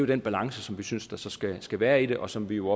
den balance som vi synes der så skal skal være i det og som vi jo